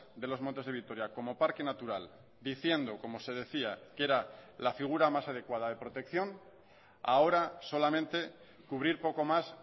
de los montes de vitoria como parque natural diciendo como se decía que era la figura más adecuada de protección a ahora solamente cubrir poco más